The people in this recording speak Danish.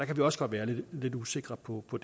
kan vi også godt være lidt usikre på på